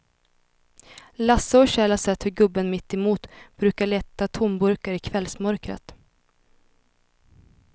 Lasse och Kjell har sett hur gubben mittemot brukar leta tomburkar i kvällsmörkret.